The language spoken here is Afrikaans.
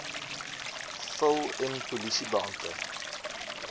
vul n polisiebeampte